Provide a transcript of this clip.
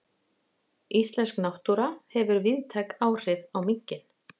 Íslensk náttúra hefur víðtæk áhrif á minkinn.